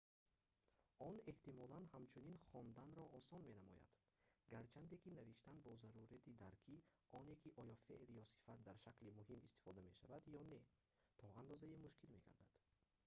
он эҳтимолан ҳамчунин хонданро осон менамояд гарчанде ки навиштан бо зарурати дарки оне ки оё феъл ё сифат дар шакли муҳим истифода мешавад ё не то андозае мушкил мегардад